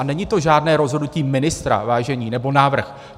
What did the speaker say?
A není to žádné rozhodnutí ministra, vážení, nebo návrh.